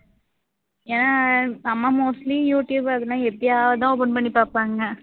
ஏன் அம்மா mostly YouTube அதெல்லாம் எப்பையாவது தான் open பண்ணி பாப்பாங்க